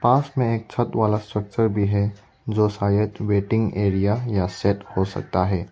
पास में एक छत वाला स्ट्रक्चर भी है जो शायद वेटिंग एरिया या शेड हो सकता है।